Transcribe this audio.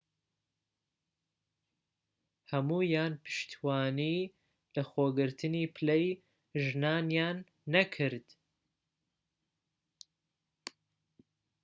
هەموویان پشتیوانیی لەخۆگرتنی پلەی ژنانیان نەکرد